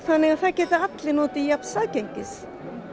þannig það geta allir notið jafns aðgengis